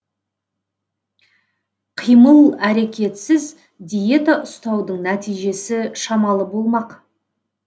қимыл әрекетсіз диета ұстаудың нәтижесі шамалы болмақ